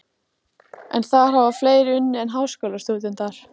En þar hafa og fleiri unnið en háskólastúdentar.